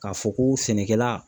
K'a fɔ ko sɛnɛkɛla.